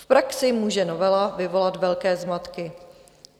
V praxi může novela vyvolat velké zmatky.